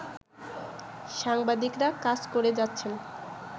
সাংবাদিকরা কাজ করে যাচ্ছেন